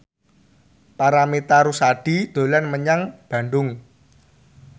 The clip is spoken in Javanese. Paramitha Rusady dolan menyang Bandung